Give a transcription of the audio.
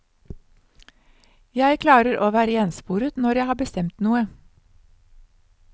Jeg klarer å være ensporet når jeg har bestemt noe.